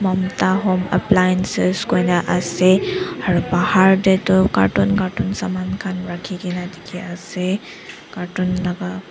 mamta home appliances koina ase aro bahar de tu carton carton saman khan rakhigina dikhi ase carton laga--